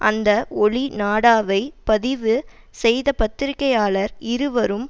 அந்த ஒளி நாடாவை பதிவு செய்த பத்திரிக்கையாளர் இருவரும்